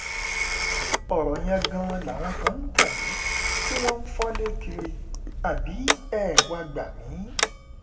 ọ̀rọ̀ yẹn gan-an làwọn kan ń tẹ̀lé tí wọ́n ń fọ́lé kiri àbí ẹ wàá gbà mí